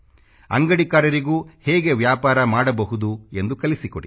ಅಂಗಡಿಕಾರರಿಗೂ ಹೇಗೆ ವ್ಯಾಪಾರ ಮಾಡಬಹುದು ಎಂದು ಕಲಿಸಿಕೊಡಿ